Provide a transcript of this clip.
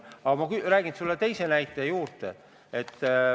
Aga ma räägin sulle teise näite juurde.